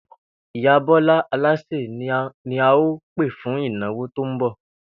Ìyá Bó̩lá alásè ni a óò pè fún ìnáwó tó ń bò̩